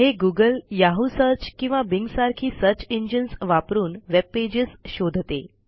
हे googleयाहू सर्च किंवा बिंग सारखी सर्च इंजिन्स वापरून वेबपेजेस शोधते